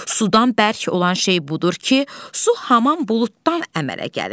Sudan bərk olan şey budur ki, su hamam buluddan əmələ gəlir.